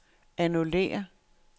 annullér